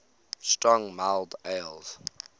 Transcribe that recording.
strong mild ales